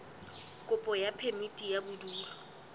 kopo ya phemiti ya bodulo